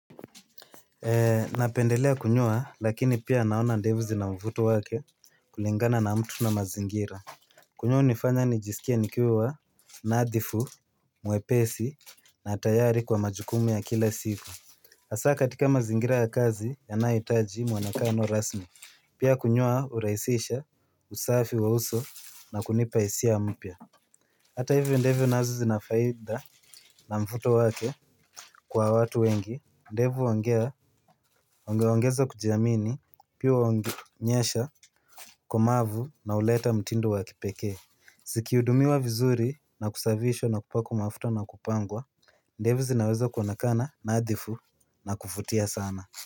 Napendelea kunyoa lakini pia naona ndevu zina mvuto wake kulingana na mtu na mazingira. Kunyoa hunifanya nijisikie nikiwa nadhifu, mwepesi na tayari kwa majukumu ya kila siku hasa katika mazingira ya kazi yanahitaji muonekano rasmi. Pia kunyoa urahisisha usafi wa uso na kunipa hisia mpya. Hata hivyo ndevu nazo zina faida na mvuto wake kwa watu wengi. Ndevu wangea, wangeongeza kujiamini, pia huonyesha, ukomavu na uleta mtindo wa kipeke. Zikiudumiwa vizuri na kusafishwa na kupakwa mafuta na kupangwa ndevu zinaweza kuonekana nadhifu na kuvutia sana.